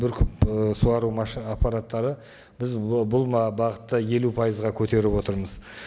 бүркіп і суару аппараттары біз бұл ы бағытта елу пайызға көтеріп отырмыз